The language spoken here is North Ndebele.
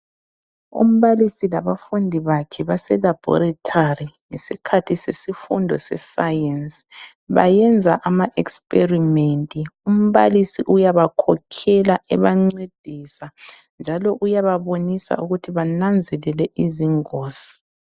Umbalisi labafundi bakhe base laboratory ngesikhathi sesifundo sescience bayenza ama experiment, umbalisi uyabakhokhela ebancedisa njalo uyababonisa ukuthi bananzelele izingozi.